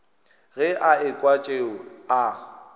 ge a ekwa tšeo a